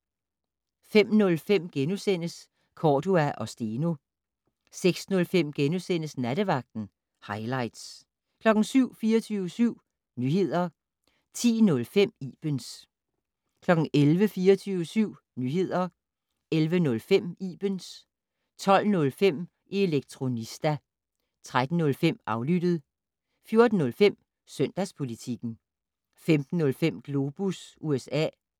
05:05: Cordua & Steno * 06:05: Nattevagten - hightlights * 07:00: 24syv Nyheder 10:05: Ibens 11:00: 24syv Nyheder 11:05: Ibens 12:05: Elektronista 13:05: Aflyttet 14:05: Søndagspolitikken 15:05: Globus USA